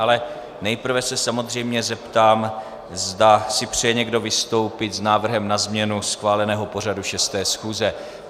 Ale nejprve se samozřejmě zeptám, zda si přeje někdo vystoupit s návrhem na změnu schváleného pořadu 6. schůze.